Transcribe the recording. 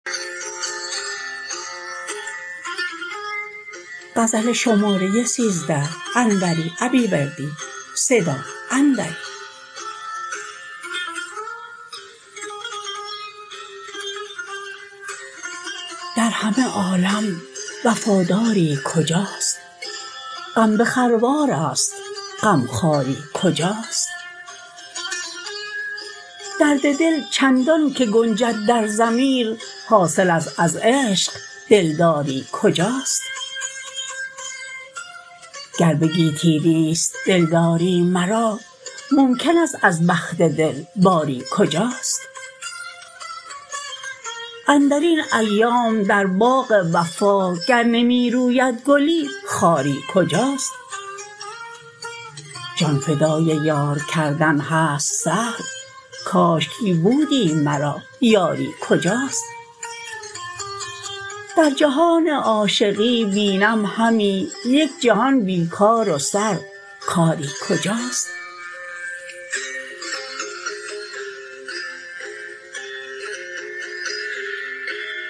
در همه عالم وفاداری کجاست غم به خروارست غمخواری کجاست درد دل چندان که گنجد در ضمیر حاصلست از عشق دلداری کجاست گر به گیتی نیست دلداری مرا ممکن است از بخت دل باری کجاست اندرین ایام در باغ وفا گر نمی روید گلی خاری کجاست جان فدای یار کردن هست سهل کاشکی بودی مرا یاری کجاست در جهان عاشقی بینم همی یک جهان بی کار و سر کاری کجاست